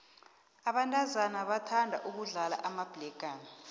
abentazana bathanda ukudlala amabhlegana